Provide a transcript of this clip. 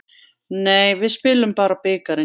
Nei, við spilum bara bikarinn.